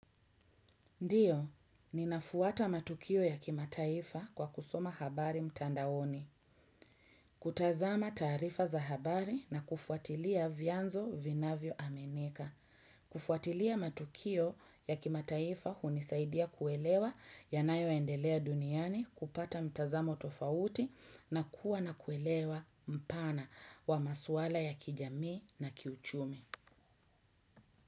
Ndiyo, ninafuata matukio ya kimataifa kwa kusoma habari mtandaoni. Kutazama taarifa za habari na kufuatilia vianzo vinavyo aminika. Kufuatilia matukio ya kimataifa hunisaidia kuelewa yanayo endelea duniani, kupata mtazamo tofauti na kuwa na kuelewa mpana wa maswala ya kijamii na kiuchumi.